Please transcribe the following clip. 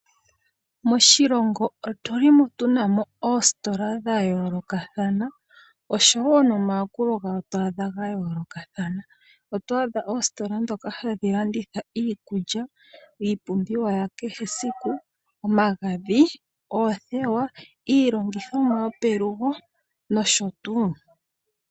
Moshilongo otuli mo tuna mo oositola dhayoolokathana osho wo nomayakulo otwadha gayoolokathana. Otwadha oositola dhoka hadhi landitha iikulya, iipumbiwa yakehe esiku, omagadhi, oothewa, iilongithomwa yopelugo nosho tuu.